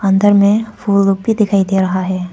अंदर में फूल भी दिखाई दे रहा है।